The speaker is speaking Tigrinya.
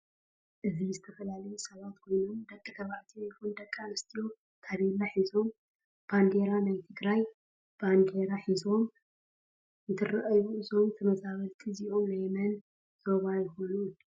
እዚ ዝተፈላላዩ ሰባት ኮይኑም ደቂተባዕትዮ ይኩን ደቂ ኣንስትዮ ተቤላ ሕዞም በደራ ናይ ትግራይ ባንዴራ ሕዞም እንትራኣዩ እዞም ተመዛበልት እዝኦም ናይ መን ዞባይኮኑ?